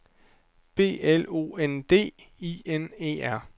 B L O N D I N E R